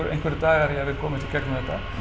einhverjir dagar í að við komumst í gegnum þetta